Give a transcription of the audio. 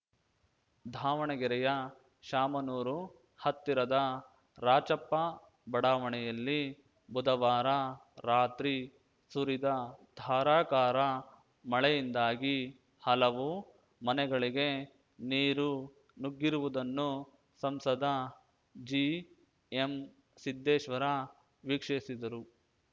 ಧಾವಣಗೆರೆಯ ಶಾಮನೂರು ಹತ್ತಿರದ ರಾಚಪ್ಪ ಬಡಾವಣೆಯಲ್ಲಿ ಬುಧವಾರ ರಾತ್ರಿ ಸುರಿದ ಧಾರಾಕಾರ ಮಳೆಯಿಂದಾಗಿ ಹಲವು ಮನೆಗಳಿಗೆ ನೀರು ನುಗ್ಗಿರುವುದನ್ನು ಸಂಸದ ಜಿಎಂ ಸಿದ್ದೇಶ್ವರ ವೀಕ್ಷಿಸಿದರು